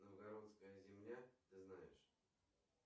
новгородская земля ты знаешь